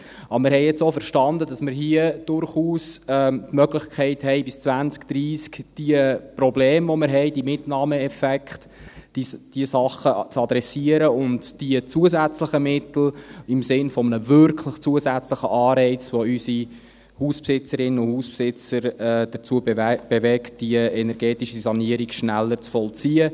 Wir haben aber jetzt auch verstanden, dass wir hier durchaus die Möglichkeit haben, bis 2030 die Probleme, die wir haben, diese Mitnahmeeffekte, diese Sachen zu adressieren und die zusätzlichen Mittel einzusetzen im Sinne eines wirklich zusätzlichen Anreizes, der unsere Hausbesitzerinnen und Hausbesitzer dazu bewegt, die energetische Sanierung schneller zu vollziehen.